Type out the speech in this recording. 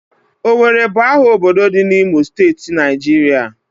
Owerri bu aha obodo di n'Imo steeti, Naijiria